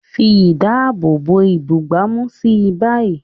Fi ìdáàbòbò ìbúgbàmù sí i báyìí.